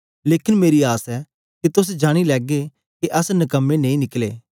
लेकन मेरी आस ऐ के तोस जानी लैगे के अस नकमे नेई निकले